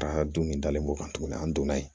Ka don nin dalen b'o kan tuguni an donna yen